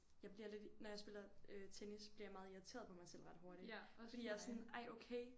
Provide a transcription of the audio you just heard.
Jeg bliver lidt når jeg spiller øh tennis bliver jeg meget irriteret på mig selv ret hurtigt fordi jeg er sådan ej okay